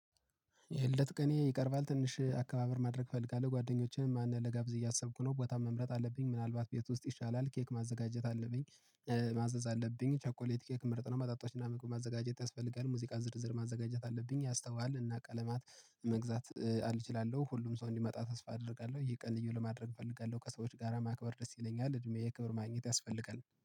የልደት ቀኔ ይቀርባል ትንሽ አከባበር ማድረግ እፈልጋለሁ ጓደኞቼን ማን ልጋብዝ እያሰብኩ ነው ቦታ መምረጥ አለብኝ ምናልባት ቤት ውስጥ ይሻላል ኬክ ማዘጋጀት አለብኝ። ማዘዝ አለብኝ ቸኮሌት ኬክ ምርጥ ነው። መጠጦች እና ምግብ ማዘጋጀት ያስፈልጋል ሙዚቃ ዝርዝር ማዘጋጀት አለብኝ። ያስተዋል እና ቀለማት መግዛት አልች እችላለው ሁሉም ሰው እንዲመጣ ተስፋ አደርጋለሁ። ይህ ቀን ልዪ ለማድረግ እፈልጋለሁ ከሰዎች ጋራ ማክበር ደስ ይለኛል። እድሜ ክብር ማግኘት ያስፈልጋል